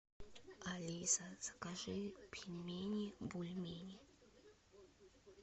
алиса закажи пельмени бульмени